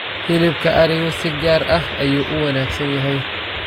Hilibka arigu si gaar ah ayuu u wanaagsan yahay.